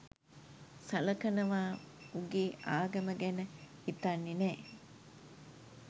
සලකනව උගේ ආගම ගැන හිතන්නෙ නෑ.